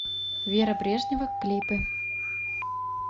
вера брежнева клипы